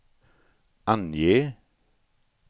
ange